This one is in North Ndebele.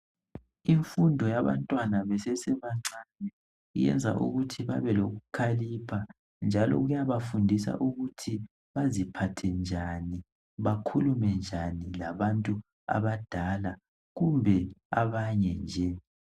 imfundo yabantwana besesebancane iyabenza ukuthi babe lokukhalipha njalo iyabafundisa ukuthi baziphathe njani bakhulume njani labantu abadala kumbe abanye nje